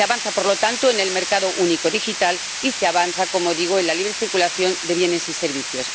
Se avanza, por lo tanto, en el mercado único digital y se avanza, como digo, en la libre circulación de bienes y servicios.